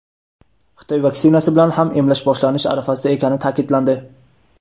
Xitoy vaksinasi bilan ham emlash boshlanish arafasida ekani ta’kidlandi.